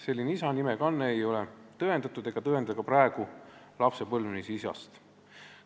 Selline isa nime kanne ei ole tõendatud ega tõenda ka praegu lapse põlvnemist isast.